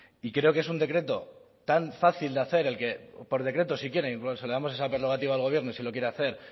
y creo que es un decreto tan fácil de hacer por decreto si quieren incluso le damos esa prerrogativa al gobierno sí lo quiere hacer